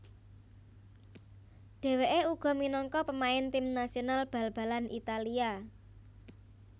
Dhewekè uga minangka pemain tim nasional bal balanItalia